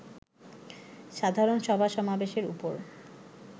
সাধারণ সভা-সমাবেশের উপর